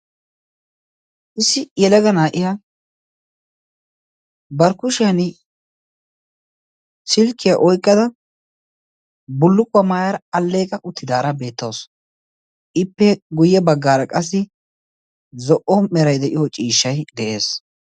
issi yelaga naa77iya barkkushiyan silkkiyaa oiqqada bulluqquwaa maayaar alleeqa uttidaara beettaosu ippe guyye baggaara qassi zo77o merai de7iyo ciishshai de7ees